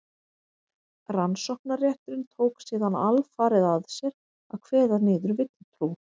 rannsóknarrétturinn tók síðan alfarið að sér að kveða niður villutrú